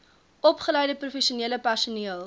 opgeleide professionele personeel